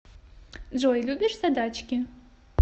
джой любишь задачки